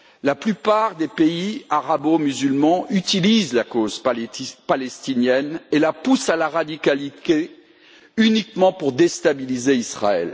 La plupart des pays arabo musulmans utilisent la cause palestinienne et la poussent au radicalisme, uniquement pour déstabiliser Israël.